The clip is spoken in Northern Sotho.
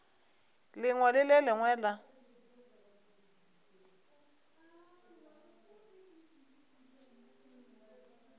lengwe le le lengwe la